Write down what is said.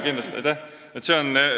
Aitäh!